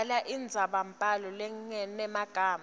bhala indzabambhalo lenemagama